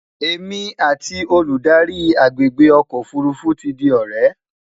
èmi àti Olùdarí agbègbè ọkọ òfurufú tí di ọrẹ